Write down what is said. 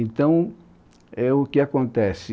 Então, é o que acontece?